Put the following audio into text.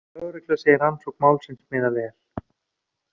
Lögregla segir rannsókn málsins miða vel